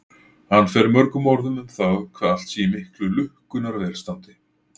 Hann fer mörgum orðum um það hvað allt sé í miklu lukkunnar velstandi.